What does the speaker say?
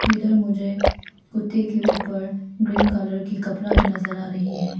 इधर मुझे कुत्ते के ऊपर ग्रीन कलर की कपड़ा भी नजर आ रही है।